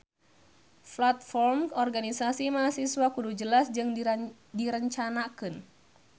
Platform organisasi mahasiswa kudu jelas jeung direncanakeun